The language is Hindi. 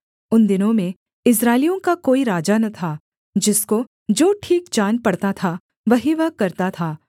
उन दिनों में इस्राएलियों का कोई राजा न था जिसको जो ठीक जान पड़ता था वही वह करता था